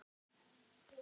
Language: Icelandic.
Hann varð hennar lamb.